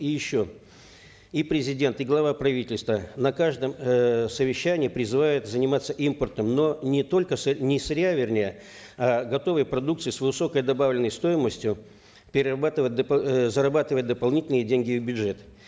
и еще и президент и глава правительства на каждом эээ совещании призывают заниматься импортом но не только не сырья вернее а готовой продукции с высокой добавленной стоимостью перерабатывать э зарабатывать дополнительные деньги в бюджет